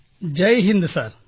Jai Hind sir